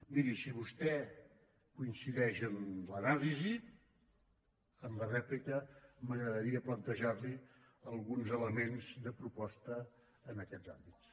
miri si vostè coincideix amb l’anàlisi en la rèplica m’agradaria plantejar li alguns elements de proposta en aquests àmbits